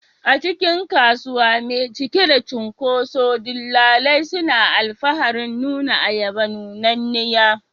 A cikin kasuwa mai cike da cunkoso, dillalai suna alfaharin nuna ayaba nunanniya.